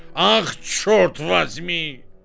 Ax çort vazmi!